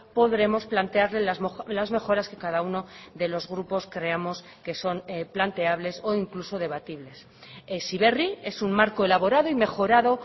podremos plantearle las mejoras que cada uno de los grupos creamos que son planteables o incluso debatibles heziberri es un marco elaborado y mejorado